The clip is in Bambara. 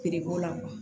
la